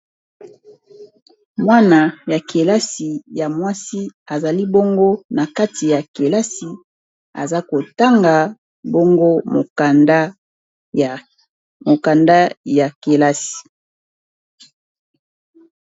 mwana ya kelasi ya mwasi azali bongo na kati ya kelasi aza kotanga bongo mokanda ya kelasi